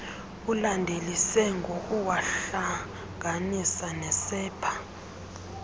ulandelise ngokuwahlanganisa nesepha